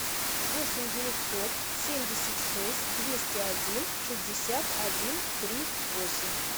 восемь девятьсот семьдесят шесть двести один шестьдесят один три восемь